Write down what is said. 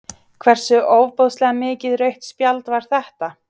Hversu ofboðslega mikið rautt spjald var þetta?